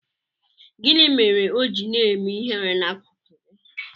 Gịnị mere o ji na-eme ihere n'akuku gị?